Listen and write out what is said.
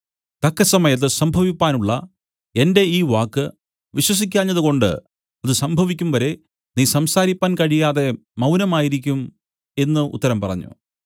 തക്കസമയത്ത് സംഭവിപ്പാനുള്ള എന്റെ ഈ വാക്ക് വിശ്വസിക്കാഞ്ഞതുകൊണ്ട് അത് സംഭവിക്കും വരെ നീ സംസാരിപ്പാൻ കഴിയാതെ മൗനമായിരിക്കും എന്നു ഉത്തരം പറഞ്ഞു